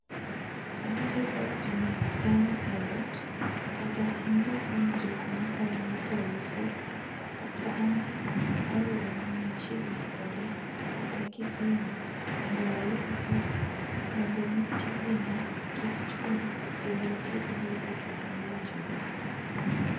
Abiro kawo pi ma akano eot, kata anyiew kuom jok mahono kauso, kata amany aora man machiegni koda, kata [cds] kisima mondo ayud pii mondo mi tijena kik chung',kendo atiekgi esa mowinjore.